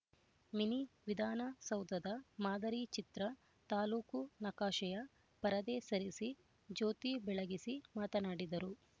mini ವಿಧಾನ ಸೌಧದ ಮಾದರಿ ಚಿತ್ರ ತಾಲೂಕು ನಕಾಶೆಯ ಪರದೆ ಸರಿಸಿ ಜ್ಯೋತಿ ಬೆಳಗಿಸಿ ಮಾತನಾಡಿದರು